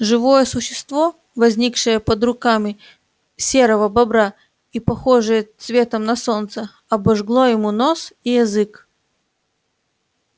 живое существо возникшее под руками серого бобра и похожее цветом на солнце обожгло ему нос и язык